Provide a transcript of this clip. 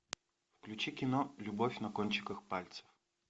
включи кино любовь на кончиках пальцев